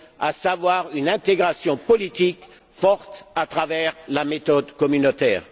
à savoir une intégration politique forte à travers la méthode communautaire?